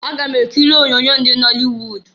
Aga m ekiri onyoonyo ndị nọlịwud.